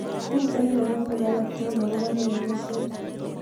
Miten logoiwek alaktugul akobo lewenishet